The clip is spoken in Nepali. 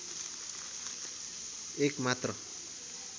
एक मात्र